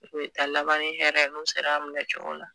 U taa laban ni hɛrɛ n'u sera a minɛcogo la